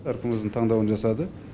әркім өзінің таңдауларын жасады